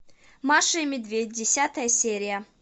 маша и медведь десятая серия